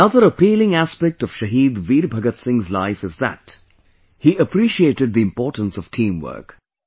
Another appealing aspect of Shahid Veer Bhagat Singh's life is that he appreciated the importance of teamwork